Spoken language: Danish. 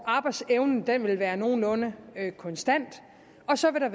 arbejdsevnen vil være nogenlunde konstant og så vil